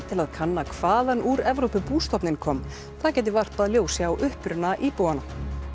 til að kanna hvaðan úr Evrópu bústofninn kom það gæti varpað ljósi á uppruna íbúanna